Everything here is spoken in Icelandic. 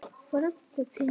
Frænku þína?